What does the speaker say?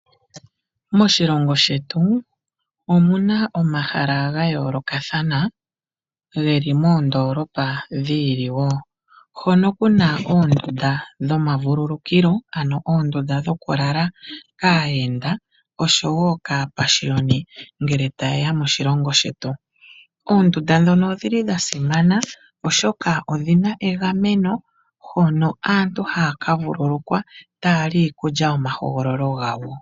Moshilongo shetu omu na omahala ga yoolokathana ge li moondoolopa dhi ili wo. Hono ku na oondunda dhomavululukilo, ano oondunda dhokulalwa kaayenda oshowo kaapashiyoni ngele taye ya moshilongo shetu. Oondunda ndhoka odha simana, oshoka odhi na egameno hono aantu haya ka vululukwa taya li iikulya yomahogololo gawo.